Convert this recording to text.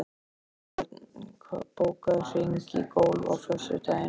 Sigbjörn, bókaðu hring í golf á föstudaginn.